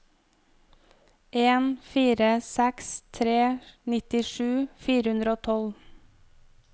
en fire seks tre nittisju fire hundre og tolv